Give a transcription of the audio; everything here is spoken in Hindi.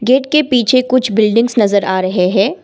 गेट के पीछे कुछ बिल्डिंग्स नजर आ रहे हैं।